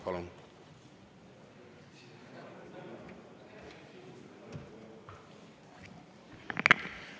Palun!